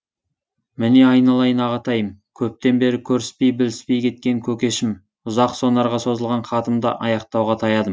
міне айналайын ағатайым көптен бері көріспей біліспей кеткен көкешім ұзақ сонарға созылған хатымды аяқтауға таядым